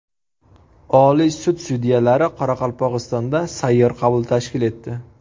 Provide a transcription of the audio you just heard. Oliy sud sudyalari Qoraqalpog‘istonda sayyor qabul tashkil etdi.